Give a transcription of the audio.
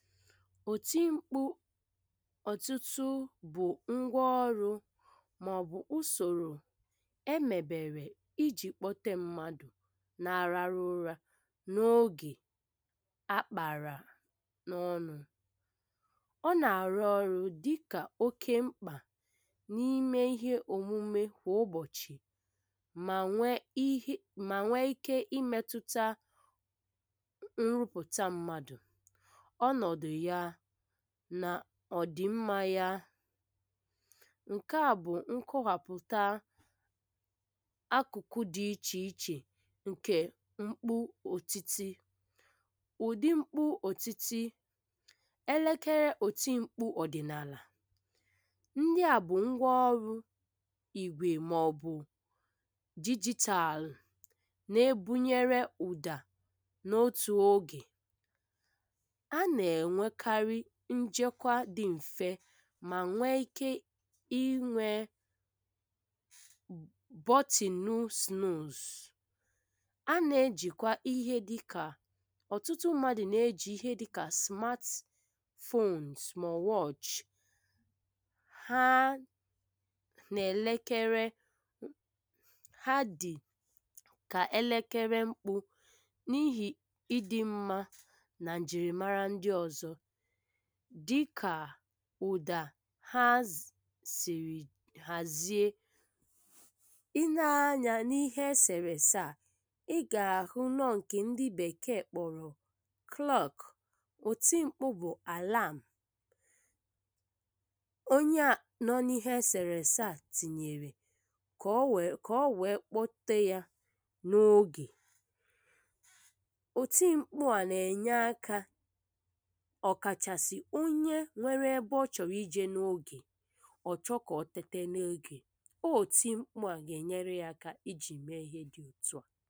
òtí mkpụ̇ ọ̀tụtụ bụ̀ ngwa ọrụ màọ̀bụ̀ ùsòrò emèbèrè ijì kpọ̀tè mmadụ̀ na-arara ụra n’ogè àkpàrà n’ọnụ̇ ọ nà-àrụ ọrụ dịkà oke mkpà n’ime ihe òmume kwà ụbọ̀chị̀ mà nwee mà nwee ike imetụta nrụpụ̀ta mmadụ̀, ọnọdụ ya nà ọ̀dị mmȧ ya ǹkè à bụ̀ nkọ̀wàpụ̀ta àkụ̀kụ dị̇ ichè ichè ǹkè mkpụ̇ òtíti, ụ̀di mkpụ̇ òtíti, èlekere òtí mkpụ̇ ọ̀dị̀nàalà ndị à bụ̀ ngwa ọrụ ìgwè màọ̀bụ̀ dijitalụ̀ nà-ebunyere ụ̀dà n’otù ogè a na-enwèkarị njèkàwa dị m̀fe mà nwee ike inwè button snooze, a na-ejìkwa ihe dịkà, ọ̀tụtụ mmadụ na-ejì ihe dịkà smartphones ma ọ wàchi ha nà-èlekere ha dị̀kà èlekere mkpụ̇ n’ihi ịdị̇ mmȧ nà njìrìmara ndị ọ̀zọ dịkà ụ̀dà ha sìrì hàzie i nēe anyȧ n’ihe esèrè-èsè à ị gà-àhụ nọ ǹkè ndị bèkee kpọ̀rọ̀ klọ̀k ùtí mkpụ̇ bụ̀ àlàm onye a nọ n’ihe esèrè-èsè à tinyèrè kà ọ wèe kpọ̀te yȧ n’ogè òtí mkpụ̇ à nà-ènye akȧ okàchasi onye nwere ebe ọ chọrọ ịje n’ogè ọ chọ ka ọ tète n’ogè. Òtí mkpụ̇ a gà-enyere ya aka ijì mee ihe dị otu à.